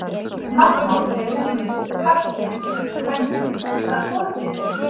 Nafnorð eru ýmist karlkyns, kvenkyns eða hvorugkyns.